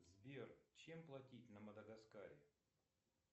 сбер чем платить на мадагаскаре